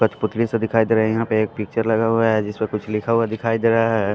कठपुतली सा दिखाई दे रहा है यहाँ पे एक पिक्चर लगा हुआ है जिस पर कुछ लिखा हुआ दिखाई दे रहा है।